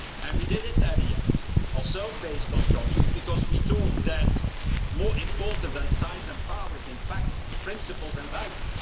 We did it in the end, also based on counsel, because we thought that more important than size and power are in fact principles and values.